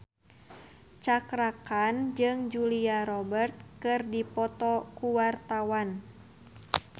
Cakra Khan jeung Julia Robert keur dipoto ku wartawan